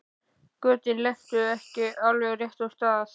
Götin lentu ekki á alveg réttum stöðum.